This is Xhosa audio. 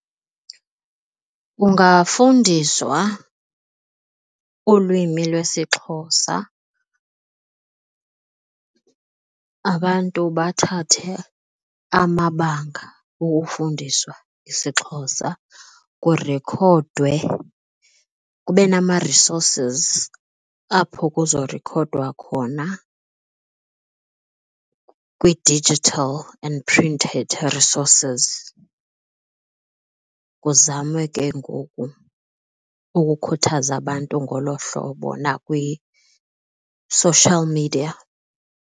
Kungafundiswa ulwimi lwesiXhosa. Abantu bathathe amabanga okufundiswa isiXhosa, kurikhodwe kube nama-resources apho kuzorikhodwa khona kwii-digital and printed resources. Kuzamwe ke ngoku ukukhuthaza abantu ngolo hlobo nakwi-social media.